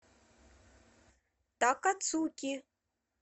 такацуки